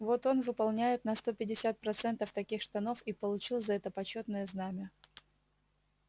вот он выполняет на сто пятьдесят процентов таких штанов и получил за это почётное знамя